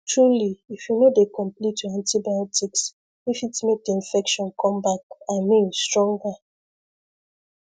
truly if you no dey complete your antibiotics e fit make the infection come back i mean stronger